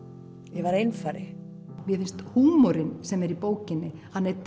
ég var einfari mér finnst húmorinn sem er í bókinni